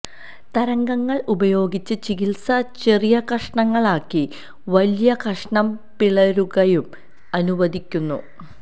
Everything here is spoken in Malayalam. തരംഗങ്ങൾ ഉപയോഗിച്ച് ചികിത്സ ചെറിയ കഷണങ്ങളാക്കി വലിയ കഷണം പിളരുകയും അനുവദിക്കുന്നു